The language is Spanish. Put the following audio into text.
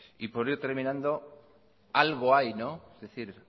y voy terminando algo hay es decir